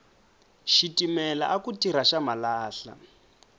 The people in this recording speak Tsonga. xitimela aku tirha xa malahla